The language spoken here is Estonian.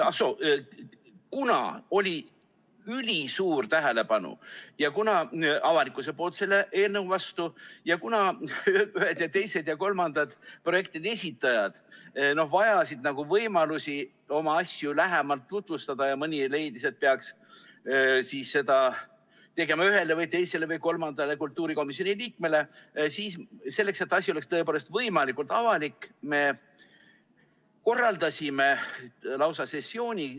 Ah soo, kuna avalikkusel oli ülisuur tähelepanu selle eelnõu vastu ning kuna ühed ja teised ja kolmandad projektide esitajad vajasid võimalusi oma asju lähemalt tutvustada ning mõni leidis, et seda peaks tegema ühele või teisele või kolmandale kultuurikomisjoni liikmele, siis selleks, et asi oleks tõepoolest võimalikult avalik, me korraldasime lausa sessiooni.